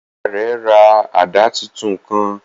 Ìyá rẹ rà àdá títún kàn